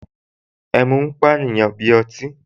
Ẹmu máa ń pàyàn bí ọtí